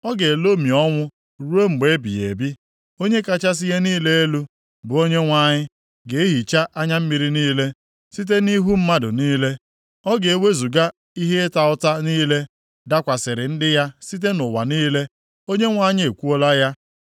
Ọ ga-elomi ọnwụ ruo mgbe ebighị ebi. Onye kachasị ihe niile elu, bụ Onyenwe anyị ga-ehicha anya mmiri niile site nʼihu mmadụ niile, ọ ga-ewezuga ihe ịta ụta + 25:8 Maọbụ, Ihe ihere niile dakwasịrị ndị ya site nʼụwa niile. Onyenwe anyị ekwuola ya.